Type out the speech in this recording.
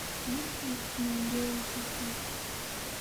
есть ли у тебя белый песок